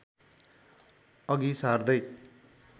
अघि सार्दै